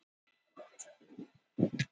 Helgi Þorláksson: Undir einveldi